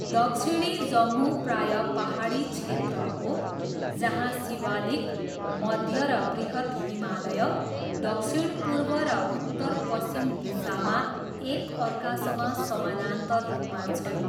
दक्षिणी जम्मू प्राय पाहाडी क्षेत्र हो जहाँ शिवालिक, मध्य र बृहत् हिमालय दक्षिणपूर्व र उत्तरपश्चिम दिशामा एकअर्कासँग समानान्तर रूपमा छन्।